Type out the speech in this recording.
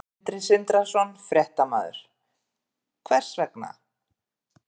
Sindri Sindrason, fréttamaður: Hvers vegna?